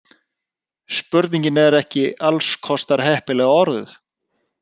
Spurningin er ekki alls kostar heppilega orðuð.